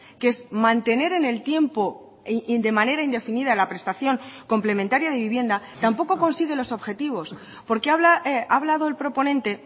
que es mantener en el tiempo de manera indefinida la prestación complementaria de vivienda tampoco consigue los objetivos porque ha hablado el proponente